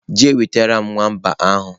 je wetaram nwamba ahu!.